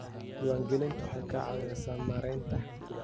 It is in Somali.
Diiwaangelintu waxay ka caawisaa maaraynta hantida.